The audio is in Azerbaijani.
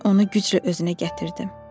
Mən onu güclə özünə gətirdim.